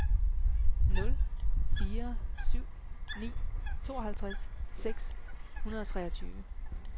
nul fire syv ni tooghalvtreds seks hundrede og treogtyve